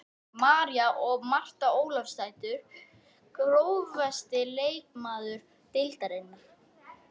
María og Marta Ólafsdætur Grófasti leikmaður deildarinnar?